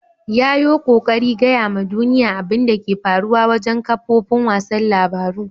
Ya yo kokari gaya ma duniyya abin da ke faruwa wajen kafofin wasan labaru.